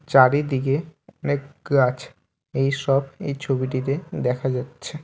চারিদিকে অনেক গাছ এইসব এই ছবিটিতে দেখা যাচ্ছে।